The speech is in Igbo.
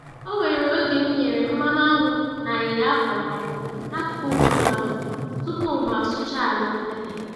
Onwere oge m nyere mmanụ aṅụ na ayịya a kwọrọ-akwọ n'akụkụ nkume ahụ tupu mụ asụchaa ala mpete.